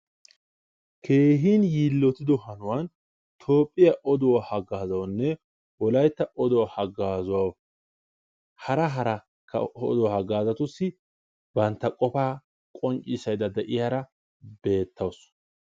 keehin yiilittidi kaamiya ha asati cadiidi de'iyo koyro tokketidaagee de'iyo koyro go'iya gididi beettees.